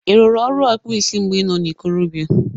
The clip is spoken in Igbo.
Ị rụrụ ọrụ ọkpụ isi mgbe i nọ na ikorobịa?